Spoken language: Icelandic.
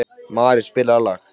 Mari, spilaðu lag.